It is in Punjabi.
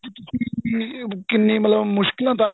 ਕਿੰਨੀ ਮਤਲਬ ਕਿੰਨੀ ਮੁਸ਼ਕਲਾ ਦਾ